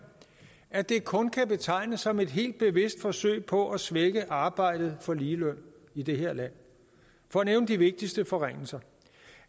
at det kun kan betegnes som et helt bevidst forsøg på at svække arbejdet for ligeløn i det her land for at nævne de vigtigste forringelser